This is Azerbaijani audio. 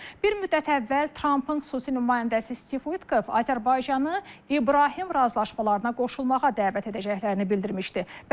Bir müddət əvvəl Trampın xüsusi nümayəndəsi Stiv Uikov Azərbaycanı İbrahim razılaşmalarına qoşulmağa dəvət edəcəklərini bildirmişdi.